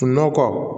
Nɔkɔ